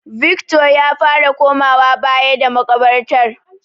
Victor ya fara komawa baya da maƙabartar.